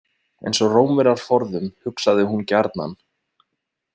Eins og Rómverjar forðum, hugsaði hún gjarnan.